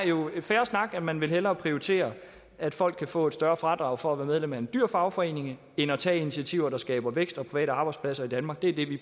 jo er fair snak at man hellere vil prioritere at folk kan få et større fradrag for at være medlem af en dyr fagforening end at tage initiativer der skaber vækst og private arbejdspladser i danmark det er det vi